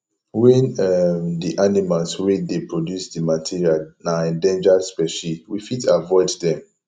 when um di animals wey dey produce di material na endangered specie we fit avoid them